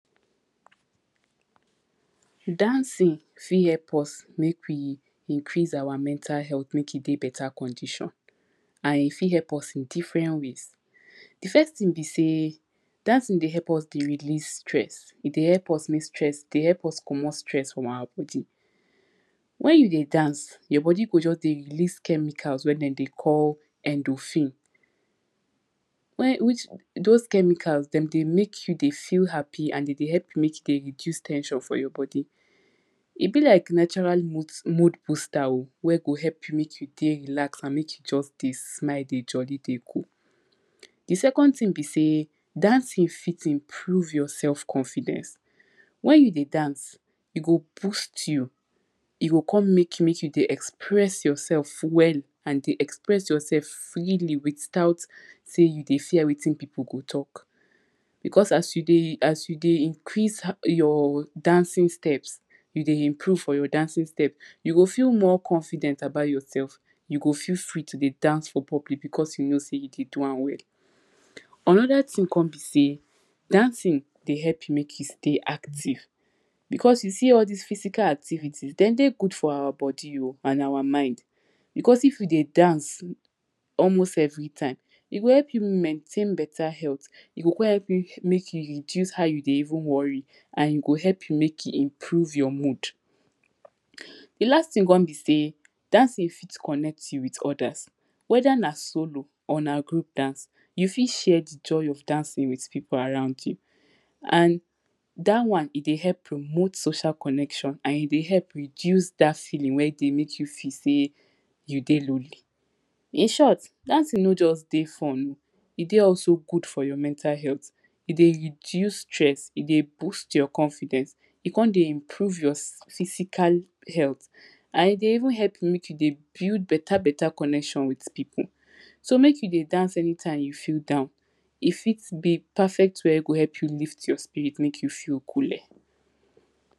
dancing fit help us make we increase our mental health make e dey beta condition. and e fit help us in different ways. di first thing be say, dancing dey help us dey release stress, e dey help us make stress dey help us commot stress from our bodi wen you dey dance, your bodi go just dey release chemicals wen e dey call endofine, when which those chemicals, dem dey make you dey feel happy and e dey help you dey reduce ten sion for your bodi. e be like natural mood booster wey go help you make you dey relaxed and make you just dey smile dey jolly dey go. di second thing be say, dat thing fit improve your self confidence, wen you dey dance, e go boost you e go kon make make you dey express yourself well and dey express yourself freely without say you dey fear say wetin pipu go talk. because as you dey as you dey increase um your dancing steps, you dey improve on your dancing steps, you go feel more confident about yourself you go feel free to dey dance for public because you kow say you dey do am well. anoda thing com be say dancing dey help you make you stay active because you see all this physical activities, den dey good for our bodi oh and our mind because if we dey dance almost everytime, e go help you mintain beta health, e go com help you make you reduce how you dey even worry and e go help you make you improe your mood. di last thing com b say dancing fit connect you with others weda na solo or na group dance, you fit share di joy of dancing with pipu around you. and dat wan e dey help promote social connection and e dey help reduce dat feeling wey dey make you feel say you dey lonely inshort dat thing no just dey fun, e dey also good for your mental health, e dey reduce stress, e dey boost your confidence, e kon dey improve your physical health and e dey even help make you dey build beta beta connction wtth pipu so make you dey dance anytime you feel down, e fit be perfect way wey go help you lift your spirit make you feel cool le..